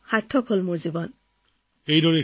মানে মোৰ বিশ্বাস যে মোৰ জীৱনটো সম্পূৰ্ণ সাৰ্থক হৈ পৰিছে